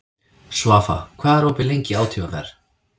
Svafa, hvað er opið lengi í ÁTVR?